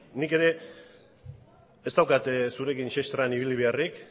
nik ere ez daukat zurekin sestran ibili beharrik